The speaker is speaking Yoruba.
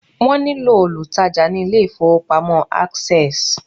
wón ní lò olùtajà ni ilé ifowópamọ́ access